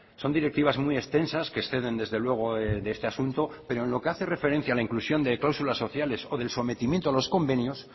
son directivas muy extensas que exceden desde luego este asunto pero en lo que hace referencia a la inclusión de cláusulas sociales o del sometimiento a los convenios